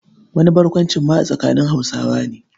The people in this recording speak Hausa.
Wani barkwancin ma a tsakanin Hausawa ne.